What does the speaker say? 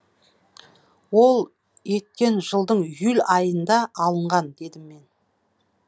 ол еткен жылдың июль айында алынған дедім мен